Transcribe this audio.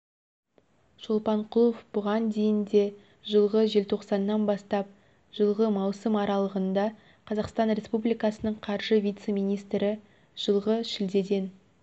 шолпанқұлов бұған дейін де жылғы желтоқсаннан бастап жылғы маусым аралығында қазақстан республикасының қаржы вице-министрі жылғы шілдеден